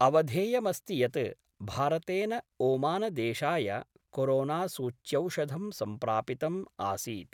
अवधेयमस्ति यत् भारतेन ओमानदेशाय कोरोनासूच्यौषधं सम्प्रापितम् आसीत्।